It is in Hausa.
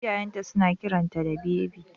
Iyayen ta suna kiranta da Bebi